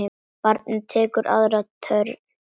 Barnið tekur aðra törn.